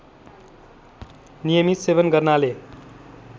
नियमित सेवन गर्नाले